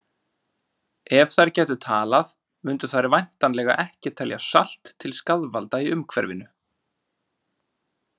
Ef þær gætu talað mundu þær væntanlega ekki telja salt til skaðvalda í umhverfinu!